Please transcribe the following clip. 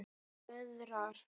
Hún löðrar.